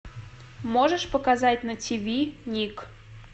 можешь показать на тиви ник